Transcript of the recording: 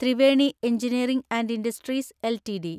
Triveni engineering and industries LTD